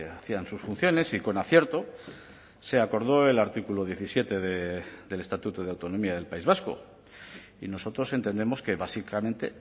hacían sus funciones y con acierto se acordó el artículo diecisiete del estatuto de autonomía del país vasco y nosotros entendemos que básicamente